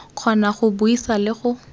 kgona go buisa le go